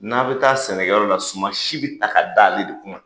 N'a bɛ taa sɛnɛkɛyɔrɔ la suman si bɛ ta ka d'ale de kunna.